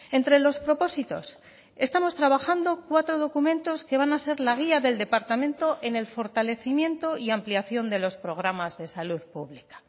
entre los propósitos estamos trabajando cuatro documentos que van a ser la guía del departamento en el fortalecimiento y ampliación de los programas de salud pública